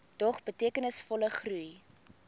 dog betekenisvolle groei